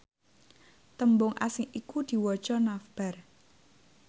tembung asing iku diwaca navbar